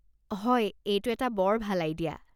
হয়, এইটো এটা বৰ ভাল আইডিয়া।